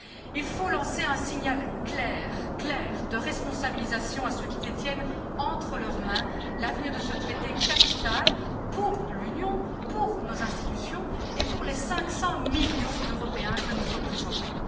Il faut lancer un signal clair de responsabilisation à ceux qui détiennent entre leurs mains l'avenir de ce Traité capital pour l'Union, pour nos institutions et pour les 500 millions d'Européens que nous représentons.